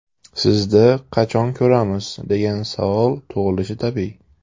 Sizda, qachon ko‘ramiz, degan savol tug‘ilishi tabiiy.